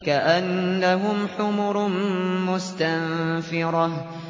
كَأَنَّهُمْ حُمُرٌ مُّسْتَنفِرَةٌ